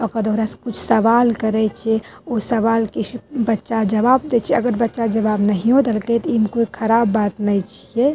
ओकर से कुछ सवाल करइ छे। उ सवाल के बच्चा जवाब देइ छे। अगर बच्चा जवाब नहियो देलकै त इमें कोई ख़राब बात नै खे।